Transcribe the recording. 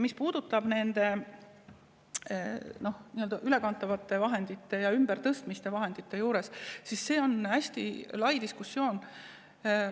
Mis puudutab ülekantavaid vahendeid ja ümbertõstmisi, siis see on hästi lai diskussioon.